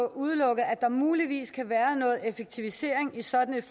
udelukke at der muligvis kan være noget effektivisering i sådan et